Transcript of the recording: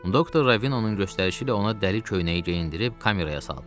Doktor Ravinonun göstərişi ilə ona dəli köynəyi geyindirib kameraya saldılar.